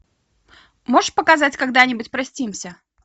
можешь показать когда нибудь простимся